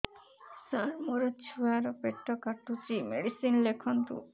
ସାର ମୋର ଛୁଆ ର ପେଟ କାଟୁଚି ମେଡିସିନ ଲେଖନ୍ତୁ